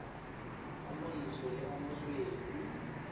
o montsho le o mosweu